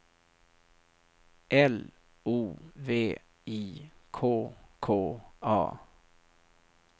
L O V I K K A